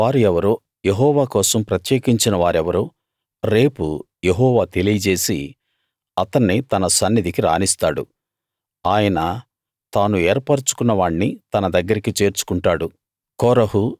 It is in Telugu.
ఆయన వారు ఎవరో యెహోవా కోసం ప్రత్యేకించిన వారెవరో రేపు యెహోవా తెలియజేసి అతన్ని తన సన్నిధికి రానిస్తాడు ఆయన తాను ఏర్పరచుకున్నవాణ్ణి తన దగ్గరికి చేర్చుకుంటాడు